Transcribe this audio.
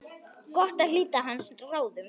Gott að hlíta hans ráðum.